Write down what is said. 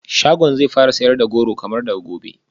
Shagon zai fara sayar da goro kamar daga gobe